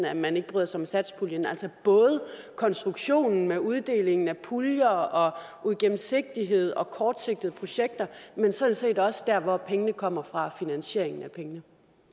at man ikke bryder sig om satspuljen altså både konstruktionen med uddelingen af puljer og uigennemsigtighed og kortsigtede projekter men sådan set også der hvor pengene kommer fra altså finansieringen